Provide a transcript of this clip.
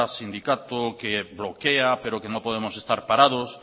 sindicato que bloquea pero que no podemos estar parados